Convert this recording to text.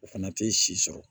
O fana tɛ si sɔrɔ